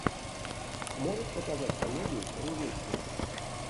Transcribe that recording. можешь показать комедию про увечья